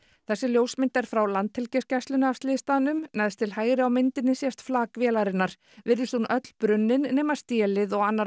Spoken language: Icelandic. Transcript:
þessi ljósmynd er frá Landhelgisgæslunni af slysstaðnum neðst til hægri á myndinni sést flak vélarinnar virðist hún öll brunnin nema stélið og annar